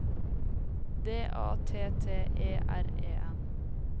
D A T T E R E N